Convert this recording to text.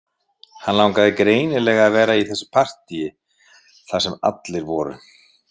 Hann langaði greinilega að vera í þessu partíi þar sem allir voru